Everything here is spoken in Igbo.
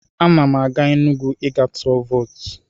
Ana m aga Enugwu ị gaa tụ vootu.